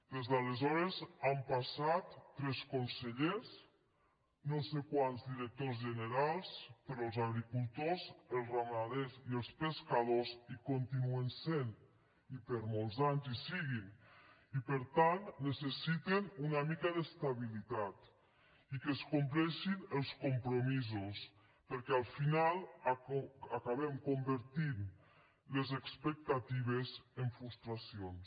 des d’aleshores han passat tres consellers no sé quants directors generals però els agricultors els ramaders i els pescadors hi continuen sent i per molts anys hi siguin i per tant necessiten una mica d’estabilitat i que es compleixen els compromisos perquè al final acabem convertint les expectatives en frustracions